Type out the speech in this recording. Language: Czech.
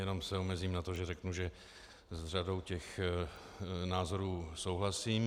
Jenom se omezím na to, že řeknu, že s řadou těch názorů souhlasím.